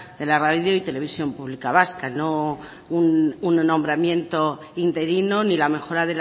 de la radio y televisión pública vasca no un nombramiento interino ni la mejora